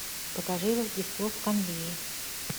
покажи рождество в канвее